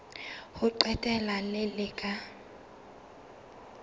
ho qetela le le ka